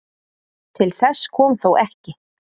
Til þess kom þó ekki.